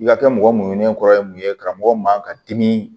I ka kɛ mɔgɔ muɲunen kɔrɔ ye mun ye karamɔgɔ man ka dimi